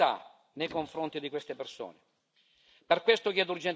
Abbiamo una responsabilità nei confronti di queste persone.